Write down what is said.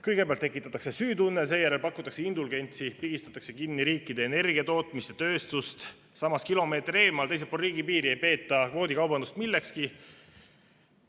Kõigepealt tekitatakse süütunne, seejärel pakutakse indulgentsi, pigistatakse kinni riikide energiatootmist ja tööstust, samas kilomeeter eemal, teisel pool riigipiiri, ei peeta kvoodikaubandust millekski.